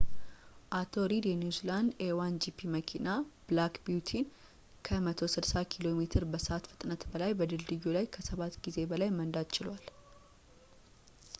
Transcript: አቶ ሪድ የኒውዚላንድ a1gp መኪና ብላክ ቢዩቲን ከ 160 ኪሜ በሰዕት ፍጥነት በላይ በድልድዩ ላይ ከሰባት ጊዜ በላይ መንዳት ችሏል